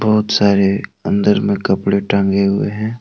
बहुत सारे अंदर में कपड़े टांगे हुए हैं।